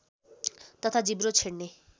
तथा जिब्रो छेड्ने